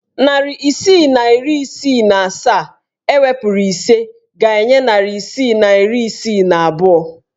Narị isii na iri isii na asaa ewepuru ise ga-enye narị isii na iri isii na abụọ.